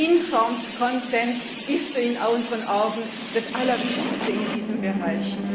der informed consent ist in unseren Augen das Allerwichtigste in diesem Bereich.